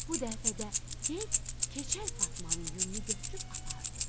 Bu dəfə də yel keçəl Fatmanın yununu götürüb apardı.